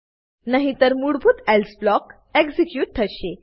નહીતર મૂળભૂત else block execute થશે